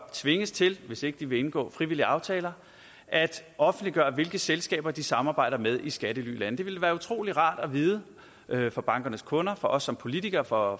tvinges til hvis ikke de vil indgå frivillige aftaler at offentliggøre hvilke selskaber de samarbejder med i skattelylande det ville være utrolig rart at vide for bankernes kunder for os som politikere for